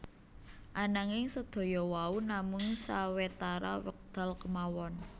Ananging sedaya wau namung sawetara wekdal kemawon